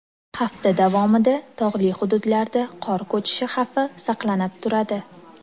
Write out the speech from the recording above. Hafta davomida tog‘li hududlarda qor ko‘chishi xavfi saqlanib turadi.